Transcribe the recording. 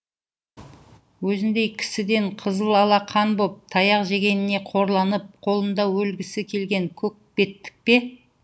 өзіңдей кісіден қызыл ала қан боп таяқ жегеніне қорланып қолында өлгісі келген көкбеттік пе